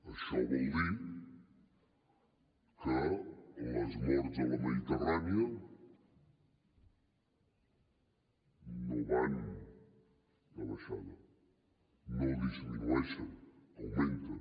això vol dir que les morts a la mediterrània no van de baixada no disminueixen augmenten